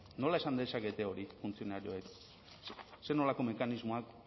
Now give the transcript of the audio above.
nola esan dezakete hori funtzionarioek zer nolako mekanismoak